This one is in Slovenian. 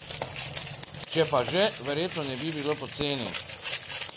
Če pa že, verjetno ne bi bila poceni.